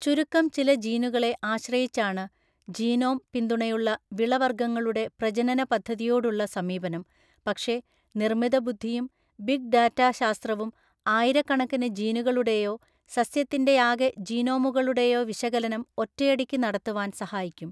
ചുരുക്കം ചില ജീനുകളെ ആശ്രയിച്ചാണ് ജീനോം പിന്തുണയുള്ള വിളവർഗ്ഗങ്ങളുടെ പ്രജനനപദ്ധതിയോടുള്ള സമീപനം, പക്ഷെ നിർമിതബുദ്ധിയും ബിഗ് ഡാറ്റാ ശാസ്ത്രവും ആയിരക്കണക്കിന് ജീനുകളുടെയോ സസ്യത്തിൻ്റെയാകെ ജീനോമുകളുടെയോ വിശകലനം ഒറ്റയടിക്ക് നടത്തുവാൻ സഹായിക്കും.